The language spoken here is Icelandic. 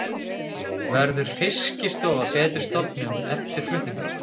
Verður Fiskistofa betri stofnun eftir flutningana?